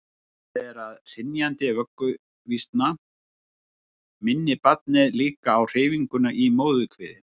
talið er að hrynjandi vögguvísna minni barnið líka á hreyfinguna í móðurkviði